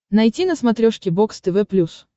найти на смотрешке бокс тв плюс